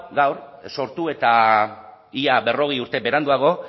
gaur sortu eta ia berrogei urte beranduago